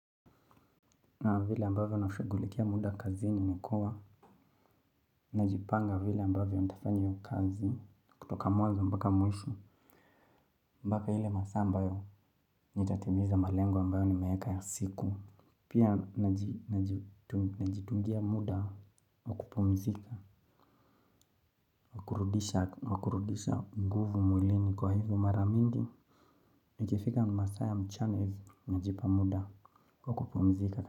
Na vile ambavyo nafugulikia muda kazini nikua najipanga vile ambavyo nitafanya hiyo kazi. Kutoka mwazo mbaka mwishu mbaka hile masambayo nitatibiza malengo ambayo ni mayeka ya siku. Pia najitungia muda wa kupumzika wa kurudisha mguvu mwilini kwa hivyo mara mingi nikifika masaa ya mchana najipa muda wa kupumzika.